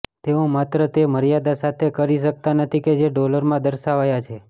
તેઓ માત્ર તે મર્યાદા સાથે કરી શકતા નથી કે જે ડોલરમાં દર્શાવાયા છે